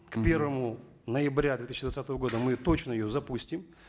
к певрому ноябрю две тысячи двадцатого года мы точно ее запустим